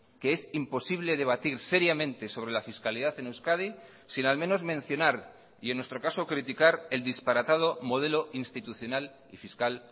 que es imposible debatir seriamente sobre la fiscalidad en euskadi sin al menos mencionar y en nuestro caso criticar el disparatado modelo institucional y fiscal